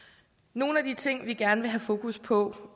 nogle af de ting vi gerne vil have sat fokus på